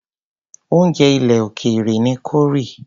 oúnjẹ ilè òkèèrè ni corie.